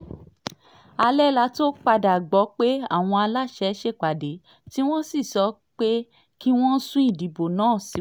alẹ́ la tóó padà gbọ́ pé àwọn aláṣẹ ṣèpàdé tí wọ́n sì sọ pé kí wọ́n sún ìdìbò náà síwájú